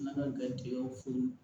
N'an ka garijɛgɛw fo